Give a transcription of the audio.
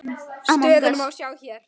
Stöðuna má sjá hérna.